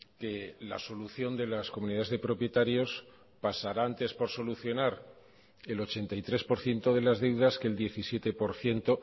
que la solución de las comunidades de propietarios pasará antes por solucionar el ochenta y tres por ciento de las deudas que el diecisiete por ciento